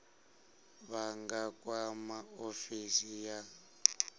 vha nga kwama ofisi ya